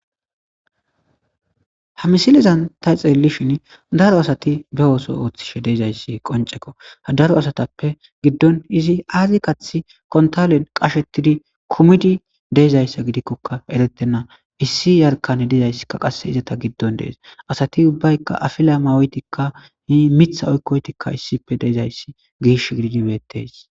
Ha misilezan ta xeellishin daro asati be ooso ooththishe deezayssi qonceko ha daro asatappe giddon izi aazi kathi kontolen qashettidi kumidi deezayssa gidikkoka erettenna issi yarkane dizayssikka qasse izata giddon dees asati ubbayka afila mawetikka hi mitha oykkoytikka issippe deezayssi giish gidinbettes.